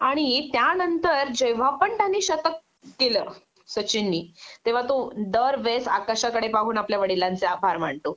आणि त्यानंतर जेंव्हा पण त्याने शतक केलं सचिननि तेंव्हा तो दरवेळेस आकाशाकडे पाहून आपल्या वडिलांचे आभार मानतो